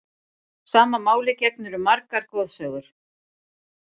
Sama máli gegnir um margar goðsögur.